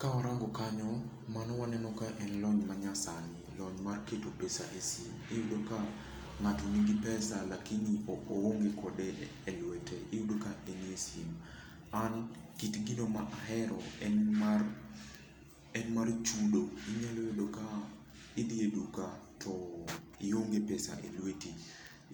Kawarango kanyo, mano waneno ka en lony manyasani. Lony mar keto pesa e sim. Iyudo ka ng'ato nigi pesa lakini oonge kode e lwete. Iyudo ka enie simu. An kit gino ma ahero en mar, en mar chudo. Inyalo yudo ka idhi e duka to ionge pesa e lweti,